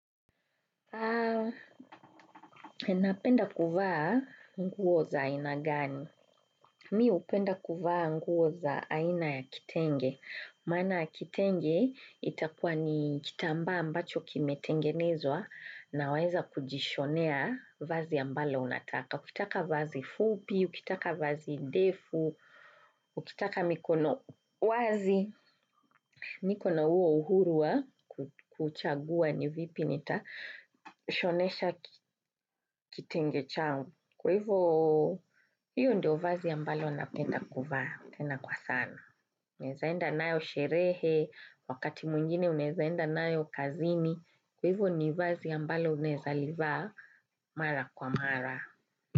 Napenda kuvaa nguo za aina gani? Mi hupenda kuvaa nguo za aina ya kitenge. Maana ya kitenge itakuwa ni kitambaa ambacho kimetengenezwa na waeza kujishonea vazi ambalo unataka. Ukitaka vazi fupi, ukitaka vazi ndefu, ukitaka mikono wazi. Niko na huo uhuru wa kuchagua ni vipi nitashonesha kitenge changu. Kwa hivo hiyo ndio vazi ambalo napenda kuvaa tena kwa sana. Unaezaenda nayo sherehe, wakati mwingine unaezaenda nayo kazini. Kwa hivo ni vazi ambalo unaeza livaa mara kwa mara.